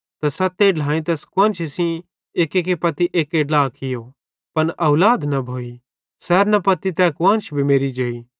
त सते ढ्लाएईं तैस कुआन्शी सेइं एक्केरे पत्ती एक्के ड्ला कियो पन औलाद न भोइ सैरेन पत्ती तै कुआन्श भी मेरि जेई